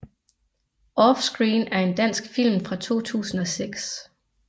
Offscreen er en dansk film fra 2006